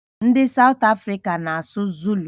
Ndị South Africa na-asụ Zulu